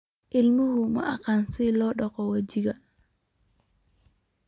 Ilmuhu ma yaqaan sida loo dhaqo wejiga.